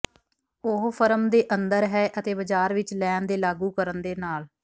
ਉਹ ਫਰਮ ਦੇ ਅੰਦਰ ਹੈ ਅਤੇ ਬਾਜ਼ਾਰ ਵਿੱਚ ਲੈਣ ਦੇ ਲਾਗੂ ਕਰਨ ਦੇ ਨਾਲ